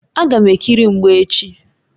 Agam ekiri mgba echi.